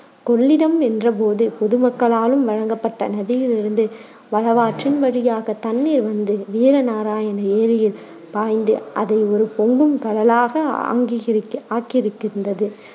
கொள்ளிடம் என்ற போது மக்களாலும் வழங்கப்பட்ட நதியிலிருந்து வடவாற்றின் வழியாகத் தண்ணீர் வந்து வீர நாராயண ஏரியில் பாய்ந்து அதை ஒரு பொங்கும் கடலாக ஆங்கிகிரு~ ஆக்கியிருக்கின்றது.